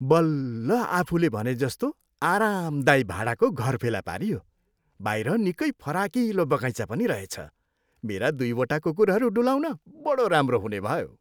बल्ल आफुले भनेजस्तो आरामदायी भाडाको घर फेला पारियो। बाहिर निकै फराकिलो बगैँचा पनि रहेछ। मेरा दुईवटा कुकुरहरू डुलाउन बढो राम्रो हुने भयो।